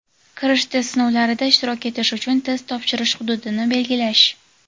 kirish test sinovlarida ishtirok etish uchun test topshirish hududini belgilash.